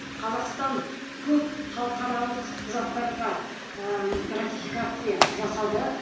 қазақстан көп халықаралық құжаттарға ыыы ратификация жасады